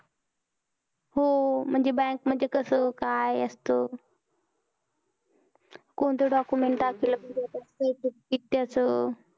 हो म्हणजे bank म्हणजे कस काय असत कोणतं document असलं कि तेच